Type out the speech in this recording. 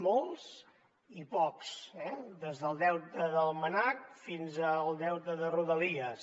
molts i pocs des del deute del mnac fins al deute de rodalies